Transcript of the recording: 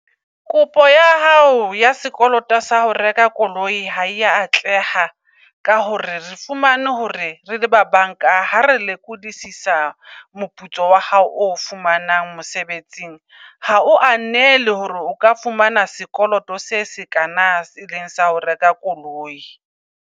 Kopo ya hao ya sekoloto sa ho reka koloi ha eya atleha ka hore re fumane hore rele ba bank-a, ha re lekodisa moputso wa hao o fumanang mosebetsing. Hao anele hore o ka fumana sekoloto se sekana, se eleng sa ho reka koloi.